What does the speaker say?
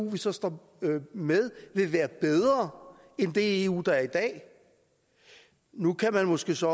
vi så står med vil være bedre end det eu der er i dag nu kan man måske så